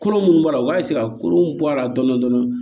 Kolo minnu b'a la u b'a ka kolow bɔ a la dɔɔni dɔɔni